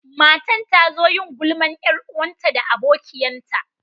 Matan ta zo yin gulman yar'uwanta da abokiyan ta.